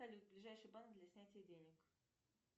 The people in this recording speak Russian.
салют ближайший банк для снятия денег